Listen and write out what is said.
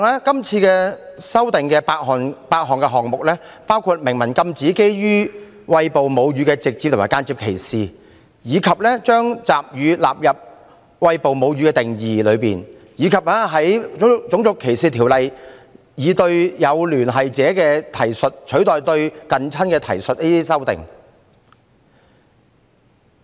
今次修訂有8個項目，包括禁止對餵哺母乳的直接或間接歧視、將集乳加入"餵哺母乳"的定義內，以及修訂《種族歧視條例》，以"有聯繫者"的提述取代"近親"的提述。